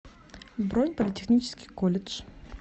бронь политехнический колледж